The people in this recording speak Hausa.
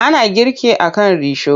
Ana girki a kan risho.